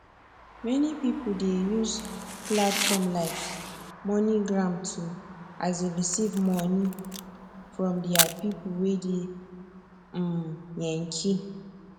many pipo dey use platform like moneygram to um receive moni from deir pipo wey dey um yankee